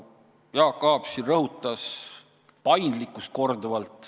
Jaak Aab siin rõhutas korduvalt paindlikkust.